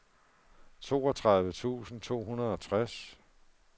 toogtredive tusind to hundrede og tres